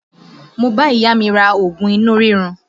Mo bá ìyá mi ra oògùn inú rírun